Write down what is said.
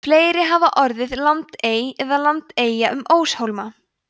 fleiri hafa orðið landey eða landeyja um óshólma